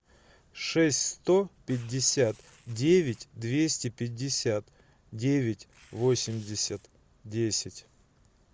шесть сто пятьдесят девять двести пятьдесят девять восемьдесят десять